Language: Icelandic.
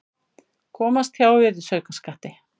Komast hjá virðisaukaskatti